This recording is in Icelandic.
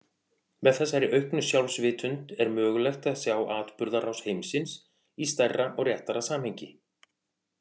Með þessari auknu sjálfsvitund er mögulegt að sjá atburðarás heimsins í stærra og réttara samhengi.